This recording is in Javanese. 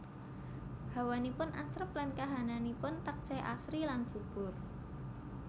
Hawanipun asrep lan kahananipun taksih asri lan subur